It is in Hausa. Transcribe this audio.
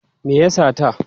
Me ya sata?